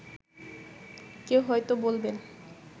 কেউ হয়তো বলবেন